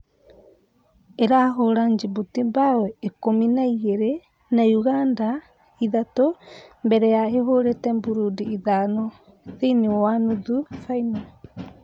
Ĩrahũra Jibuti mbao ikũmi na igĩrĩ na Ũganda ithatũ mbere ya ĩhũrĩte Mburundi ithano thĩiniĩ wa nuthu baino.